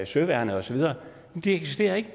søværnet og så videre det eksisterer ikke